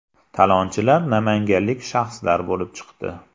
Talonchilar namanganlik shaxslar bo‘lib chiqdi.